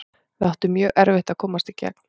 Við áttum mjög erfitt að komast í gegn.